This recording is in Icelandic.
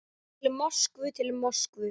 Til Moskvu, til Moskvu!